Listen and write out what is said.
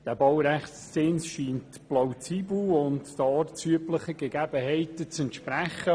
Der Baurechtszins erscheint plausibel und den ortsüblichen Gegebenheiten zu entsprechen.